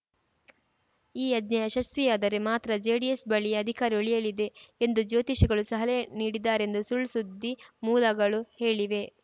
ಈ ಯಜ್ಞ ಯಶಸ್ವಿಯಾದರೆ ಮಾತ್ರ ಜೆಡಿಎಸ್‌ ಬಳಿಯೇ ಅಧಿಕಾರ ಉಳಿಯಲಿದೆ ಎಂದು ಜ್ಯೋತಿಷಿಗಳು ಸಹಲೆ ನೀಡಿದ್ದಾರೆಂದು ಸುಳ್‌ಸುದ್ದಿ ಮೂಲಗಳು ಹೇಳಿವೆ